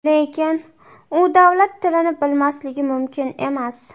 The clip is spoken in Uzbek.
Lekin u davlat tilini bilmasligi mumkin emas.